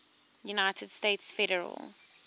united states federal